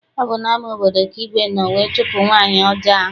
Ọ bụ n'ama obodo ka igwe nọ wee chụpụ nwaanyị ọjọọ ahụ.